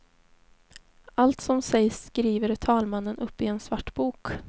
Allt som sägs skriver talmannen upp i en svart bok.